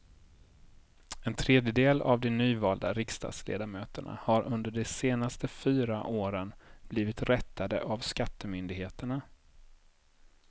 En tredjedel av de nyvalda riksdagsledamöterna har under de senaste fyra åren blivit rättade av skattemyndigheterna.